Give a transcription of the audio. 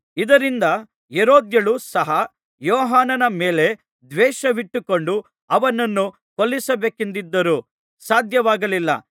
ಇದರಿಂದ ಹೆರೋದ್ಯಳು ಸಹ ಯೋಹಾನನ ಮೇಲೆ ದ್ವೇಷವಿಟ್ಟುಕೊಂಡು ಅವನನ್ನು ಕೊಲ್ಲಿಸಬೇಕೆಂದಿದ್ದರೂ ಸಾಧ್ಯವಾಗಲಿಲ್ಲ